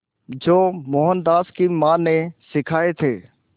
जो मोहनदास की मां ने सिखाए थे